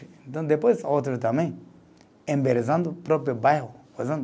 Então, depois, outro também, embelezando o próprio bairro.